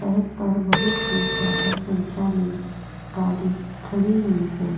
सड़क पर बहुत ही ज्यादा संख्या में गाड़ी खड़ी हुई है.